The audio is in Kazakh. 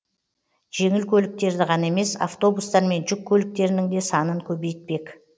жеңіл көліктерді ғана емес автобустар мен жүк көліктерінің де санын көбейтпек